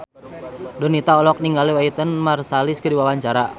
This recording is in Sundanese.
Donita olohok ningali Wynton Marsalis keur diwawancara